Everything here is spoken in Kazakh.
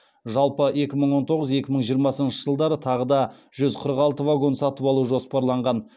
жалпы екі мың он тоғыз екі мың жиырмасыншы жылдары тағы да жүз қырық алты вагон сатып алу жоспарланған